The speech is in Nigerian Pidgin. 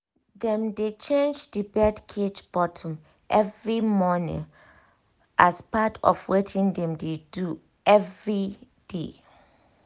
dem dey change the bird cage bottom every morning as part of wetin dem dey do every day